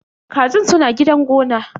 Kajin suna gidan gona.